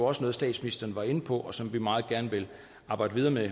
også noget statsministeren var inde på og som vi meget gerne vil arbejde videre med